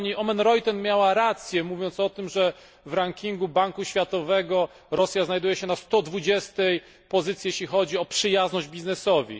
Pani Oomen Ruijten miała rację, mówiąc o tym, że w rankingu Banku Światowego Rosja znajduje się na 120 pozycji, jeśli chodzi o przyjazność biznesowi.